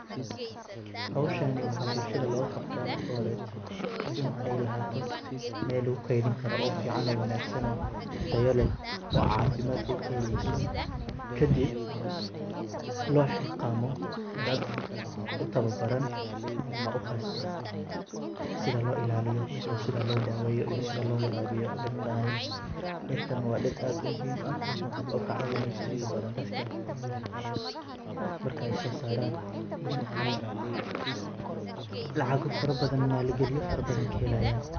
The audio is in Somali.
Hooshani waxa bulshadha looqabta marki horeto in ay lahato meel lagukedhani karo oo ficano oo wanagsan oo tayileh oo cafimadka kahelyso kadib loo xilqamo daad uu tawabaran ama ukhasta: sidhaa loo ilaliyo iyo sidha loodawiyo iyo sidhii loo warawiyo dirtani. Dirtan waa diir aad umihim aah oo kacawaniso intaa badhan daadka markay soo saaran in ay lacaqo farabadhan maalagaliyo farabadhan kahelayan.